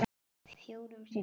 Fjórum sinnum?